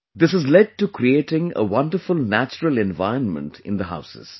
This has led to creating a wonderful natural environment in the houses